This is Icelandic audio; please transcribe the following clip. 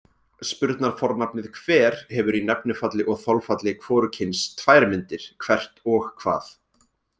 Spurnarfornafnið hver hefur í nefnifalli og þolfalli hvorugkyns tvær myndir, hvert og hvað.